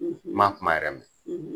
N ma kuma yɛrɛ mɛn